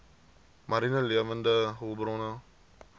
mariene lewende hulpbronne